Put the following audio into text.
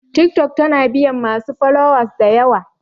Tiktok tana biyan masu followers dayawa